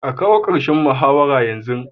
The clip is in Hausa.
A kawo karshen muzaharar yanzu!